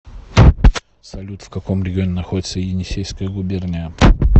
салют в каком регионе находится енисейская губерния